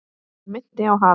Hann minnti á hafið.